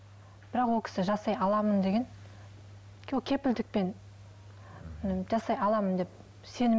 бірақ ол кісі жасай аламын деген ол кепілдікпен жасай аламын деп